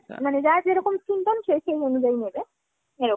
মানে যার যেরকম skin tone সে সেই অনুযায়ী নেবে। এরকম।